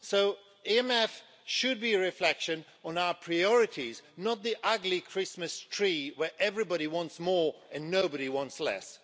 So the MFF should be a reflection on our priorities, not the ugly Christmas tree where everybody wants more and nobody wants less.